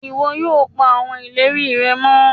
iwọ yóò pa awọn ìlérí rẹ mọ